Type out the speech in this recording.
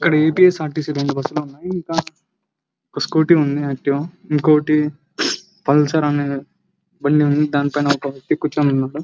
ఏ T C ర T C రెండు బస్సులు ఉన్నాయి ఒక స్కూటీ ఉంది యాక్టీవ్ ఇంకొ పుల్సార్ అనే బండి ఉంది దానిపైన ఒక వేక్తి కూర్చొని ఉన్నాడు.